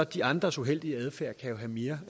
de andres uheldige adfærd jo have mere